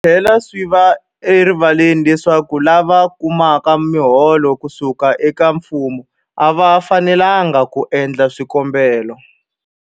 Swi tlhela swi va erivaleni leswaku lava kumaka miholo ku suka eka mfumo a va fanelanga ku endla swikombelo.